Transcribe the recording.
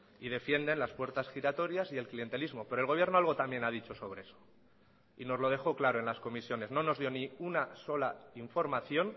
y defienden las puertas giratorias y el clientelismo pero el gobierno algo también ha dicho sobre eso y nos lo dejó claro en las comisiones no nos dio ni una sola información